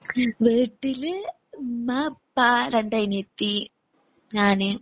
വീട്ടില് ഉമ്മ, ഉപ്പ, രണ്ട് അനിയത്തി, ഞാന്